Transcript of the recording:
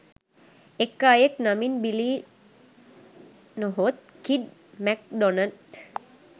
එක් අයෙක් නමින් බිලී නොහොත් කිඩ් මැක්ඩොනන්